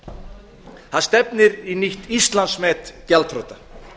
vera það stefnir í nýtt íslandsmet gjaldþrota